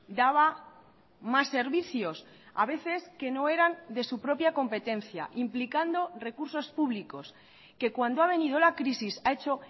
daba más servicios a veces que no eran de su propia competencia implicando recursos públicos que cuando ha venido la crisis ha hecho